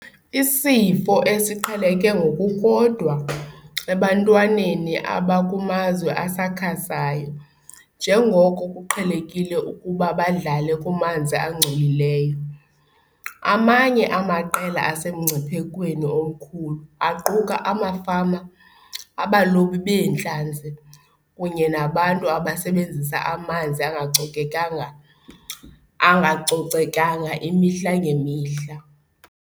Isifo esiqheleke ngokukodwa ebantwaneni abakumazwe asakhasayo njengoko kuqhelekile ukuba badlale kumanzi angcolileyo. Amanye amaqela asemngciphekweni omkhulu aquka amafama, abalobi beentlanzi, kunye nabantu abasebenzisa amanzi angacocekanga imihla ngemihla.